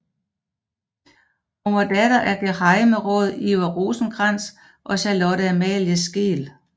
Hun var datter af gehejmeråd Iver Rosenkrantz og Charlotte Amalie Skeel